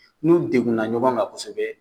N'u degunna ɲɔgɔn kan kosɛbɛ